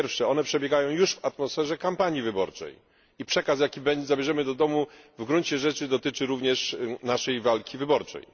Po pierwsze, przebiegają one już w atmosferze kampanii wyborczej i przekaz, jaki zabierzemy do domu, w gruncie rzeczy dotyczy również naszej walki wyborczej.